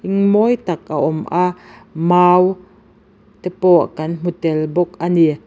mawi tak a awm a mau te pawh kan hmu tel bawk ani.